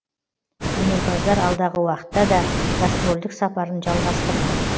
өнерпаздар алдағы уақытта да гастрольдік сапарын жалғастырмақ